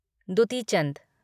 Dutee Chand